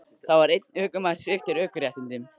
Þá var einn ökumaður sviptur ökuréttindum